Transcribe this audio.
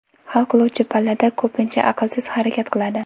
Hal qiluvchi pallada ko‘pincha aqlsiz harakat qiladi.